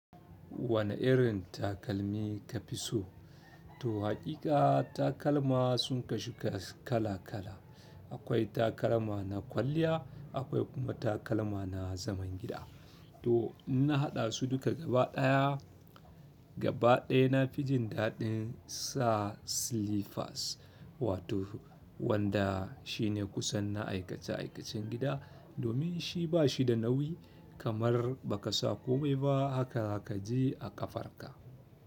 Wane irin takalmi ka fi so? To haƙiƙa takalma sun kasu kala kala. Akwai takalma na kwalliya akwai kuma takalma na zaman gida. To in na haɗa su duka gaba ɗaya, gaba ɗaya na fi jin daɗin sa slippers wato wanda shine kusan na aikace aikacen gida domin shi ba shi da nauyi kamar ba ka sa komai ba haka kaje a ƙafarka.